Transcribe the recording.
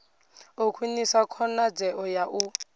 u khwinisa khonadzeo ya u